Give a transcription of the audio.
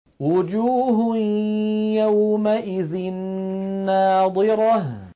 وُجُوهٌ يَوْمَئِذٍ نَّاضِرَةٌ